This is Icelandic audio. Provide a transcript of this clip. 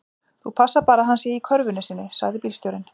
Þú passar bara að hann sé í körfunni sinni, sagði bílstjórinn.